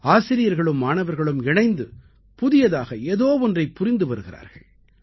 ஆசிரியர்களும் மாணவர்களும் இணைந்து புதியதாக ஏதோ ஒன்றைப் புரிந்து வருகிறார்கள்